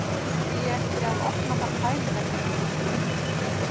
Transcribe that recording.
Hví ekki að opna þar fæðingarheimili?